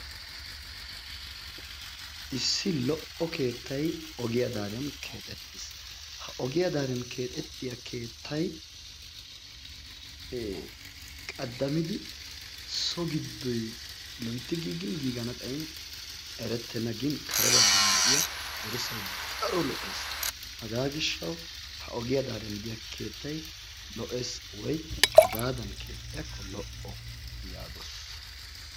Issi lo"o keettay ogiya daariyan keexettiis. Ha ogiya daariyan keexettiya keettay ee qaddamidi so giddoy loytti giigin giigana xayin erettenna. Gin kare baggan de'iya dirssay daro lo'ees. Hagaa gishshawu ha ogiya daariyan de'iya keettay lo'ees woy hagaadan keexxiyakko lo"o yaagoos.